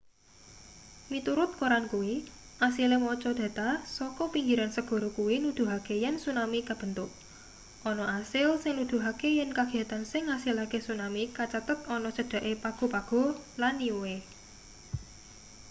miturut koran kuwi asile maca data saka pinggiran segara kuwi nuduhake yen tsunami kabentuk ana asil sing nuduhake yen kagiyatan sing ngasilake tsunami kacathet ana cedhake pago pago lan niue